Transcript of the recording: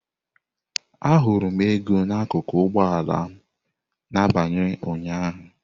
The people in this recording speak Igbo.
Ahụrụ m ego n'akụkụ ụgbọ ala m n'abalị ụnyaahụ.